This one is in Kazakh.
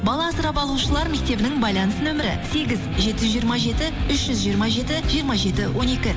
бала асырап алушылар мектебінің байланыс нөмірі сегіз жеті жүз жиырма жеті үш жүз жиырма жеті жиырма жеті он екі